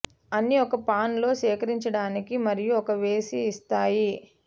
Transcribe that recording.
అన్ని ఒక పాన్ లో సేకరించడానికి మరియు ఒక వేసి ఇస్తాయి